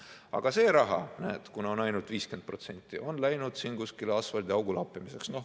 Aga see raha, näed, kuna on ainult 50%, on läinud kuskile asfaldiaugu lappimiseks.